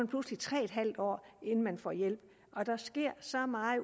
pludselig tre en halv år inden man får hjælp og der sker så meget